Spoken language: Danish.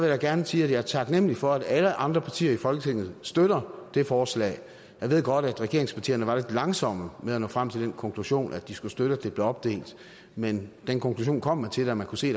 da gerne sige at jeg er taknemlig for at alle andre partier i folketinget støtter det forslag jeg ved godt at regeringspartierne var lidt langsomme med at nå frem til den konklusion at de skulle støtte at det blev opdelt men den konklusion kom man til da man kunne se